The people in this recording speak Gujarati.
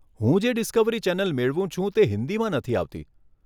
હું જે ડિસ્કવરી ચેનલ મેળવું છું તે હિંદીમાં નથી આવતી.